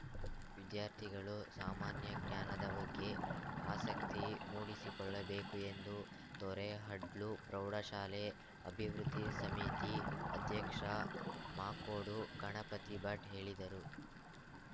ವಿದ್ಯಾರ್ಥಿಗಳು ಸಾಮಾನ್ಯ ಜ್ಞಾನದ ಬಗ್ಗೆ ಆಸಕ್ತಿ ಮೂಡಿಸಿಕೊಳ್ಳಬೇಕು ಎಂದು ತೊರೆಹಡ್ಲು ಪ್ರೌಢಶಾಲೆ ಅಭಿವೃದ್ಧಿ ಸಮಿತಿ ಅಧ್ಯಕ್ಷ ಮಾಕೋಡು ಗಣಪತಿ ಭಟ್‌ ಹೇಳಿದರು